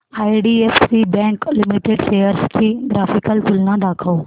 IDFC bank limited shares ची graphical तुलना दाखव